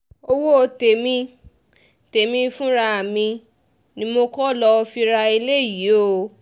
owó tèmi tèmi fúnra mi ni mo kọ́ lóo fi ra eléyìí o